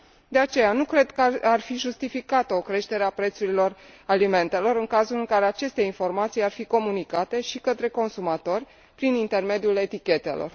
De aceea, nu cred că ar fi justificată o creștere a prețurilor alimentelor, în cazul în care aceste informații ar fi comunicate și către consumatori prin intermediul etichetelor.